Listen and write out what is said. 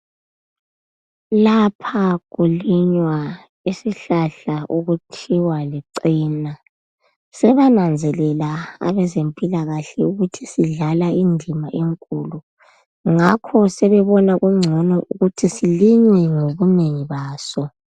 Lapha kulinywa isihlahla okuthiwa licena. Sebananzelela abazemphilakahle ukuthi sidlala indima enkulu. Ngakho sebebona kugcono ukuthi silinywe ngobunengi baso.